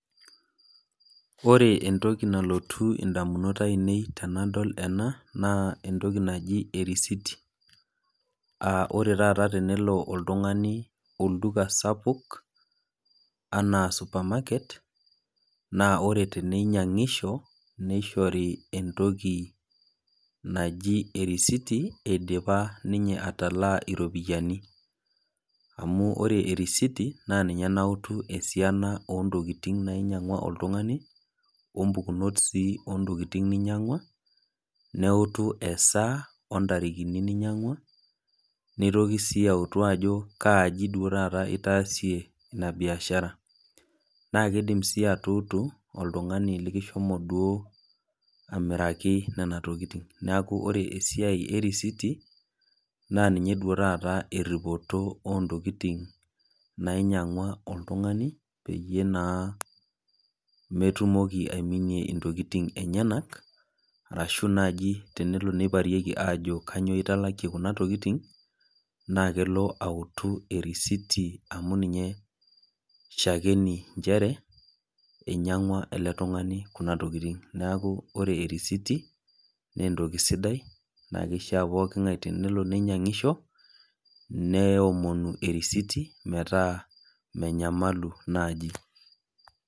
ore entoki nalotu edamunot ainei tenadol ena naa entoki naaji eriait aa ore taata tenolo oltung'ani olduka sapuku enaa supermarket naa ore teninyiangisho nishori entoki naaji erisiti eidipa atalaa ropiani amu ore erisiti naa ninye nautu esiana oo ntokitin nainyiangua oltung'ani ompukunot sii oo ntokitin nyiangua neutu esaa oo ntarikini nainyiangua nitoki sii autu Ajo kaji duo taata etaasie ena biashara naa kidim sii atutu oltung'ani likihomo duo amiraki Nena tokitin neeku ore esiai erisiti naa ninye duo taata teripoto oo ntokitin nainyiangua oltung'ani peyie naa metumoki aiminie ntokitin enyena arashu naaji tenelo nikilikuoni Ajo kainyio etalakie Kuna tokitin naa kelo autu erisiti amu ninye shakini njeere inyiangua ele tung'ani Kuna tokitin neeku ore erisiti naa entoki sidai naa kishaa pookin ng'ae teninyiangisho neomoni erisiti metaa menyamalu naaji